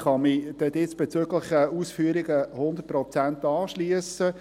Ich kann mich den diesbezüglichen Ausführungen zu 100 Prozent anschliessen.